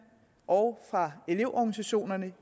og fra elevorganisationerne